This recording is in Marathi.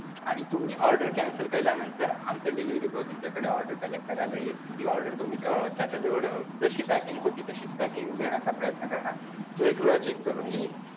आणि तुम्ही order cancel केल्यानंतर आमचा delivery boy तुमच्याकडे order collect करायला येईल, ती order तुम्ही अं त्याचाजवळ अं जशी packing होती तशीच packing देण्याचा प्रयत्न करणार, तो एकवेळा check करून घेईल.